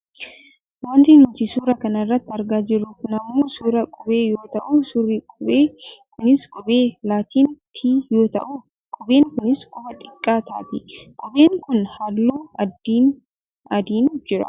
Wanti nuti suura kana irratti argaa jirru kun ammoo suuraa qubee yoo ta'u suurri qubee kunis qubee laatin "t" yoo ta'u qubeen kunis qubee xiqqaa taati. Qubeen kun halluu adiin jira.